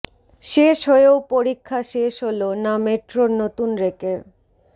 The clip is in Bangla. শেষ হয়েও পরীক্ষা শেষ হল না মেট্রোর নতুন রেকের